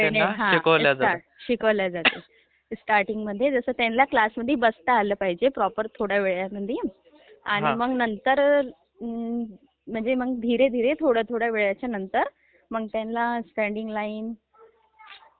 ping हा...शिकवल्या जातात...............स्टार्टींगमध्ये त्यांना कसं क्लासमध्ये बसता आलं पाहिजे, प्रॉपर थोड्यावेळासाठी ............आणि मग नंतर म्हणजे मग...धीरे धीरे....थोड्या थोड्या वेळाच्या नंतर मग त्यांना स्ञॅडींग लाइन..